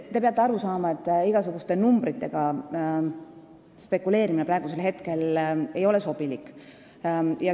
Te peate aru saama, et igasuguste numbritega spekuleerimine ei ole praegu sobilik.